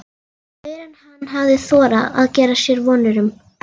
Meira en hann hafði þorað að gera sér vonir um.